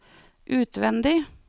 utvendig